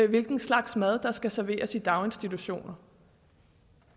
hvilken slags mad der skal serveres i daginstitutioner